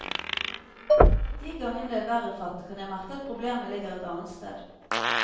De gangene det er verre fatt, kan jeg merke at problemet ligger et annet sted.